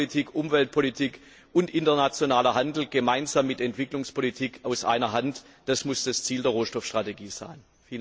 Wirtschaftspolitik, Umweltpolitik und internationaler Handel gemeinsam mit Entwicklungspolitik aus einer Hand das muss das Ziel der Rohstoffstrategie sein!